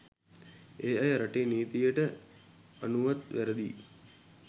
ඒ අය රටේ නීතියට අනුවත් වැරදියි.